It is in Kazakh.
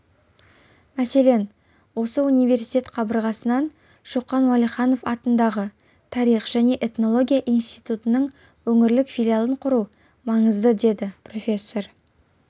мәселен осы университет қабырғасынан шоқан уәлиханов атындағы тарих және этнология институтының өңірлік филиалын құру маңызды деді профессор